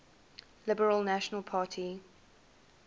liberal national party